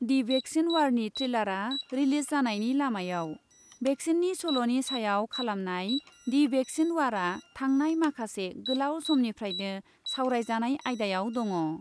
दि vaccine वारनि ट्रेलारआ release जानायनि लामायाव। भेक्सिननि सल'नि सायाव खालामनाय दि भेक्सिन वारआ थांनाय माखासे गोलाव समनिफ्रायनो सावरायजानाय आयदायाव दङ।